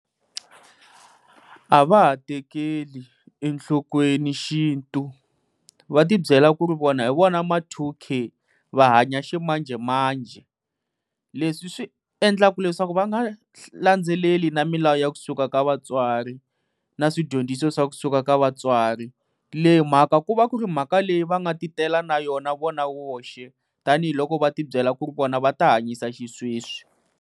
A va ha tekeli enhlokweni xintu, va ti byela ku ri vona hi vona ma two K, va hanya ximanjhemanjhe leswi swi endlaka leswaku va nga landzeleli na milawu ya kusuka ka vatswari, na swidyondziso swa kusuka ka vatswari. Leyi mhaka ku va ku ri mhaka leyi va nga ti tela na yona vona voxe tanihiloko va ti byela ku ri vona va ta hanyisa xisweswi.